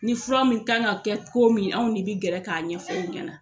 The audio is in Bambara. Ni fura min kan ka kɛ ko min anw de bɛ gɛrɛ k'a ɲɛfɔ aw ɲɛna.